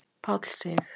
Páll Sig.